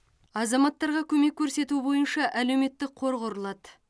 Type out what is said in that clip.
азаматтарға көмек көрсету бойынша әлеуметтік қор құрылады